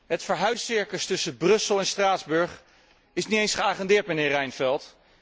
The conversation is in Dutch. Het verhuiscircus tussen Brussel en Straatsburg is niet eens geagendeerd, mijnheer Reinfeldt.